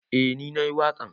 Eh ni na yi waƙan.